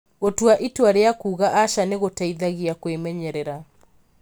Gũtua itua rĩa kuuga aca nĩ gũgũteithagia kwĩmenyerera.